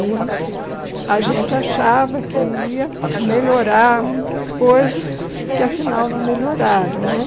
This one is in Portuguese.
E a gente achava que ia melhorar muitas coisas que, afinal, não melhoraram né.